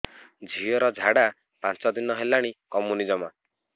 ଝିଅର ଝାଡା ପାଞ୍ଚ ଦିନ ହେଲାଣି କମୁନି ଜମା